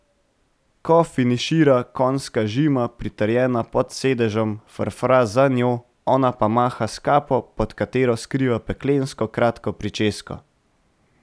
Ko finišira, konjska žima, pritrjena pod sedežem, frfra za njo, ona pa maha s kapo, pod katero skriva peklensko kratko pričesko.